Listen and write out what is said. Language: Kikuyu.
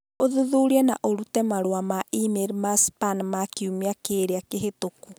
ũthuthurie na ũrute marũa ma e-mail ma span ma kiumia kĩrĩa kĩhĩtũku